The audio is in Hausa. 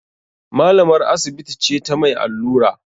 Malamar asibiti ce ta mai allura